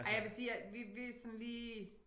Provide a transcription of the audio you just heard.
Ej jeg vil sige at vi vi sådan lige